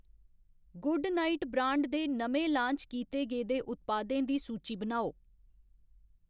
Good diet brand दे नमें launch कीते गेदे उत्पादें दी सूची बनाओ ?